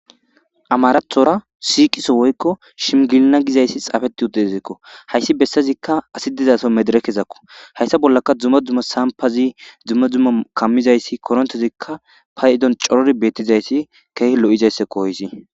Amarathora siqiso woykko shimgilna gizayssi xaafeti uddezikko hayssi bessazikka asi dizaso medere kesakko hayssa bollaka dzumma dzumma sampazi dzumma dzumma kammizayssi korontezikka fa idon corori beettizayssi keehi lo'izayssako hoysi.